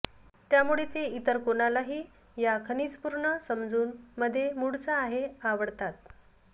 त्यामुळे ते इतर कोणालाही या खनिज पूर्ण समजून मध्ये मूळचा आहे आवडतात